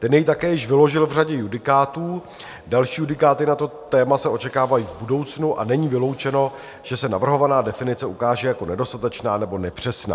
Ten jej také již vyložil v řadě judikátů, další judikáty na to téma se očekávají v budoucnu a není vyloučeno, že se navrhovaná definice ukáže jako nedostatečná nebo nepřesná.